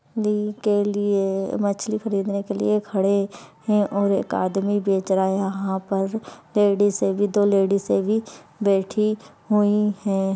ली के लिए मछली खरीदने के लिए खड़े है और एक आदमी बेच रहा हैं यहां पर लेडीसे भी दो लेडिसे भी बैठी हुई हैं।